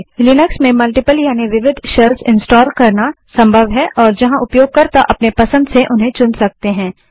Linux में multiple यानि विविध शेल्स इंस्टाल करना संभव है और जहाँ उपयोगकर्ता अपने पसंद से उन्हें चुन सकते हैं